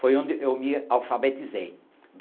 Foi onde eu me alfabetizei.